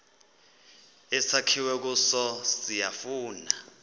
esakhiwe kuso siyafana